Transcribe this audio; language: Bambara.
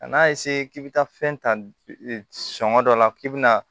Kan'a k'i bɛ taa fɛn ta sɔngɔ dɔ la k'i bɛna